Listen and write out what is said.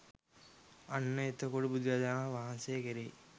අන්න එතකොට බුදුරජාණන් වහන්සේ කෙරෙහි